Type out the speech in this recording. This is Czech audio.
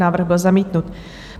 Návrh byl zamítnut.